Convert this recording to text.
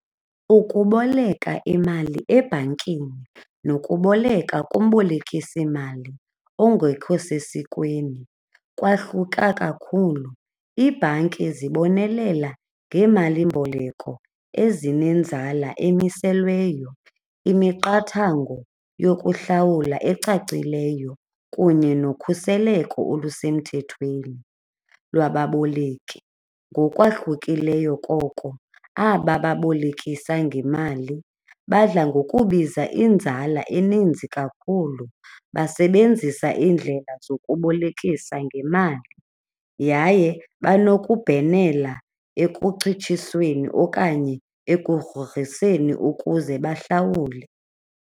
Ukuboleka imali ebhankini nokuboleka kumbolekisimali ongekho sesikweni kwahluka kakhulu. Iibhanki zibonelela ngeemalimboleko ezinenzala emiselweyo, imiqathango yokuhlawula ecacileyo kunye nokhuseleko olusemthethweni lwababoleki. Ngokwahlukileyo koko, aba babolekisa ngemali badla ngokubiza inzala eninzi kakhulu, basebenzisa iindlela zokubolekisa ngemali, yaye banokubhenela ekucitshisweni okanye ekugrogriseni ukuze bahlawule.